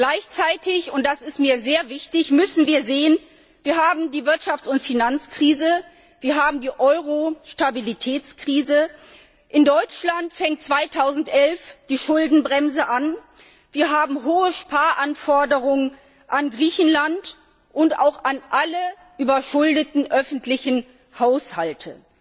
Gleichzeitig und das ist mir sehr wichtig müssen wir sehen Wir haben die Wirtschafts und Finanzkrise, wir haben die Euro Stabilitätskrise, in Deutschland fängt 2011 die Schuldenbremse an, wir haben hohe Sparanforderungen an Griechenland und auch an alle überschuldeten öffentlichen Haushalte.